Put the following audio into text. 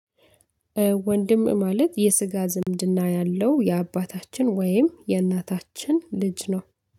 ወንድም ማለት የስጋ ዝምድና ያለው የአባታችን ወይም የእናታችን ልጅ ነው።